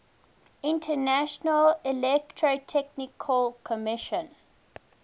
international electrotechnical commission